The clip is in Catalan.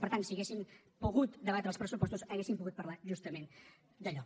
per tant si haguéssim pogut debatre els pressupostos hauríem pogut parlar justament d’allò